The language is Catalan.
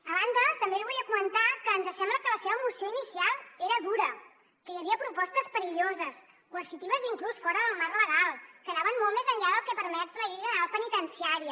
a banda també li volia comentar que ens sembla que la seva moció inicial era dura que hi havia propostes perilloses coercitives i inclús fora del marc legal que anaven molt més enllà del que permet la llei general penitenciària